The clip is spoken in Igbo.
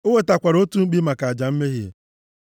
O wetakwara otu mkpi maka aja mmehie,